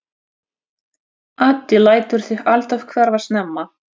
Addi lætur sig alltaf hverfa snemma.